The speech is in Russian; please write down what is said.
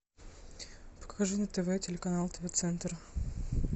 покажи на тв телеканал тв центр